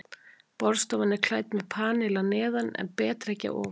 Borðstofan er klædd með panel að neðan en betrekki að ofan.